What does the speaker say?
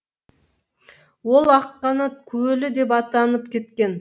ол аққанат көлі деп атанып кеткен